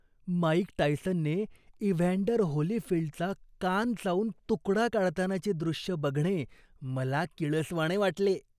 Mic टायसनने Evander होलीफील्डचा कान चावून तुकडा काढतानाचे दृश्य बघणे मला किळसवाणे वाटले.